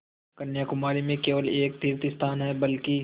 कन्याकुमारी में केवल एक तीर्थस्थान है बल्कि